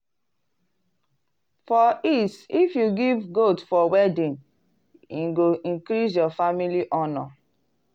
for east if you give goat for wedding e go increase your family honor.